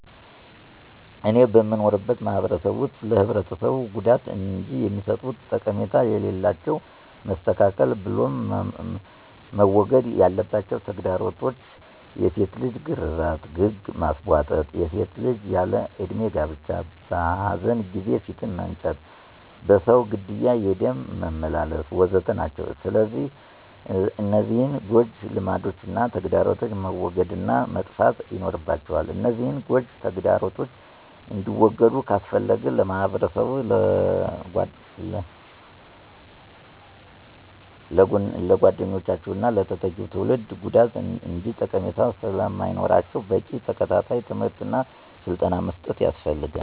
እኔ በምኖርበት ማህበረሰብ ውስጥ ለህብረተሰቡ ጉዳት እንጅ የሚሰጡት ጠቀሜታ ስለሌላቸው መስተካከል ብሎም መወገድ ያለባቸው ተግዳሮቶች፣ የሴት ልጅ ግርዛት፣ ግግ ማስቧጠጥ፣ የሴት ልጅ ያለ እድሜ ጋብቻ፣ በኃዘን ጊዜ ፊት መንጨት፣ በሰው ግድያ የደም መመላለስ፣ ወ.ዘ.ተ... ናቸው። ስለዚህ እነዚህን ጎጅ ልማዶችና ተግዳሮቶች መወገድ እና መጥፋት ይኖርባቸዋል፤ እነዚህን ጎጅ ተግዳሮቶች እንዲወገዱ ካስፈለገ ለማህበረሰቡ ስለጎጅነታቸውና ለተተኪው ትውልድ ጉዳት እንጅ ጠቀሜታ ስለማይኖራቸው በቂ ተከታታይ ትምህርት እና ስልጠና መስጠት ያስፈልጋል።